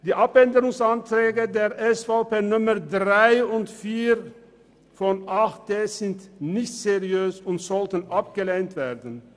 Die Anträge 3 und 4 der SVP sind nicht seriös und sollten abgelehnt werden.